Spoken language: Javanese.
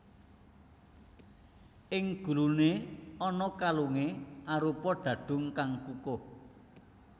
Ing guluné ana kalungé arupa dhadhung kang kukuh